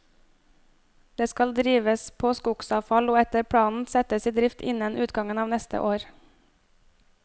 Det skal drives på skogsavfall og etter planen settes i drift innen utgangen av neste år.